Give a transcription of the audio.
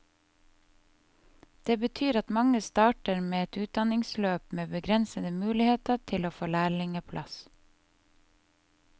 Det betyr at mange starter på et utdannelsesløp med begrensede muligheter til å få lærlingeplass.